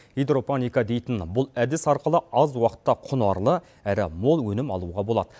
гидропоника дейті бұл әдісі арқылы аз уақытта құнарлы әрі мол өнім алуға болады